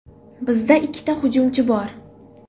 Bizda ikki hujumchi bor.